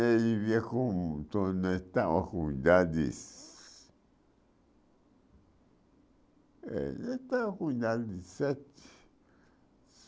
vivia com... Estava com idade se ... Eh estava com idade de sete.